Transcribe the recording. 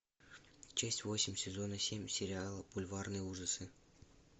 часть восемь сезона семь сериала бульварные ужасы